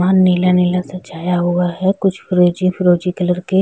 वहाँ नीला-नीला सा छाया हुआ है। कुछ फिरोजी-फिरोजी क्लर के --